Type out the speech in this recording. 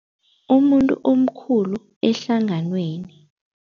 Umuntu omkhulu ehlanganweni.